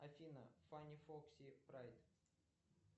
афина фани фокси прайд